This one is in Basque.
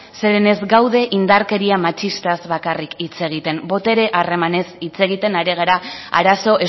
zeren ez gaude indarkeria matxistaz bakarrik hitz egiten botere harremanez hitz egiten ari gara arazo